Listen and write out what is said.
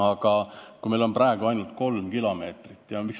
Aga praegu on meil ainult kolm kilomeetrit tehtud.